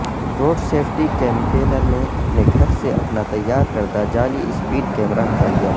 road safety campaigner نے اپنے گھر سے اپنا تیار کردہ جعلی سپیڈ کیمرہ ہٹا لیا